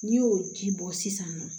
N'i y'o ji bɔ sisan nɔ